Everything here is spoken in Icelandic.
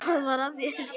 Hvað var að þér?